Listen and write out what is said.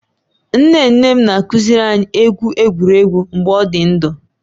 Nne nne m na-akuziri anyị egwu egwuregwu mgbe ọ dị ndụ